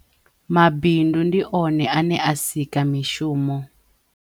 Mabindu ndi one ane a sika mishumo.